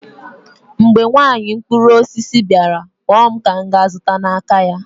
mgbe nwanyị mkpụrụ osisi bịara, kpọọ m ka m ga-azụta n'aka ya